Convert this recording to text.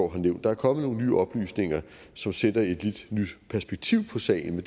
har nævnt der er kommet nogle nye oplysninger som sætter et lidt nyt perspektiv på sagen